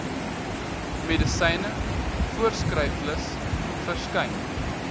medisyne voorskriflys verskyn